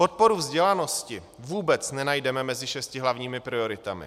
Podporu vzdělanosti vůbec nenajdeme mezi šesti hlavními prioritami.